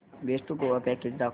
best Goa package दाखव